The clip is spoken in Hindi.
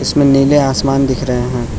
इसमें नीले आसमान दिख रहे हैं।